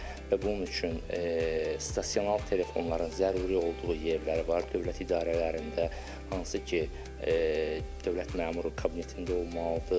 Və bunun üçün stasionar telefonların zəruri olduğu yerlər var dövlət idarələrində, hansı ki dövlət məmuru kabinetində olmalıdır.